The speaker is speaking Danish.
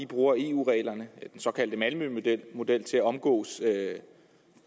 bruger eu reglerne den såkaldte malmømodel til at omgå